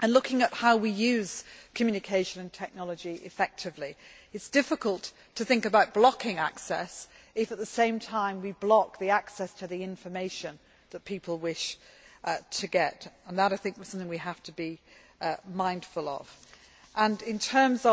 and looking at how we use communication and technology effectively. It is difficult to think about blocking access if, at the same time, we block the access to the information that people wish to get, and that, I think, is something we have to be mindful of. And in terms